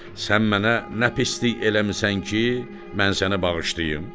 Sən mənə nə pislik eləmisən ki, mən səni bağışlayım?